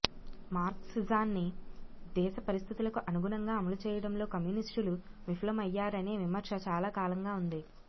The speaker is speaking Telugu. మార్క్సిజాన్ని దేశ పరిస్థితులకు అనుగుణంగా అమలు చేయడంలో కమ్యూనిస్టులు విఫలమయ్యారనే విమర్శ చాలా కాలంగా ఉంది